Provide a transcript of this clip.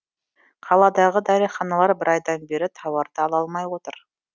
қаладағы дәріханалар бір айдан бері тауарды ала алмай отыр